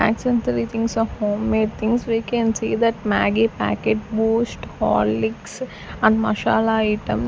essentially things of homemade things we can see that maggi packet boost horlicks and masala item.